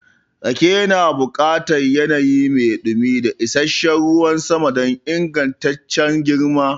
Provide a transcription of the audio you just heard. Rake yana buƙatar yanayi mai dumi da isasshen ruwan sama don ingantaccen girma.